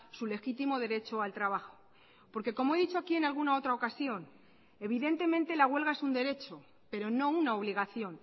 su legítimo derecho al trabajo porque como he dicho aquí en alguna otra ocasión evidentemente la huelga es un derecho pero no una obligación